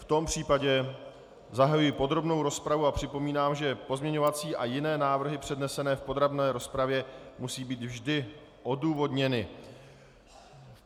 V tom případě zahajuji podrobnou rozpravu a připomínám, že pozměňovací a jiné návrhy přednesené v podrobné rozpravě musí být vždy odůvodněny.